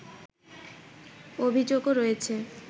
অভিযোগও রয়েছে